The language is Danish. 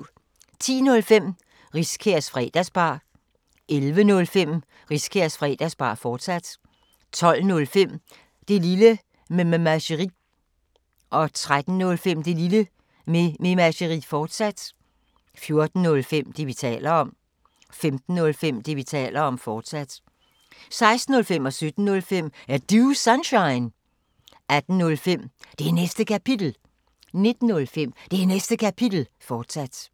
10:05: Riskærs Fredagsbar 11:05: Riskærs Fredagsbar, fortsat 12:05: Det Lille Mememageri 13:05: Det Lille Mememageri, fortsat 14:05: Det, vi taler om 15:05: Det, vi taler om, fortsat 16:05: Er Du Sunshine? 17:05: Er Du Sunshine? 18:05: Det Næste Kapitel 19:05: Det Næste Kapitel, fortsat